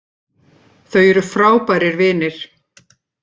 Þau eru frábærir vinir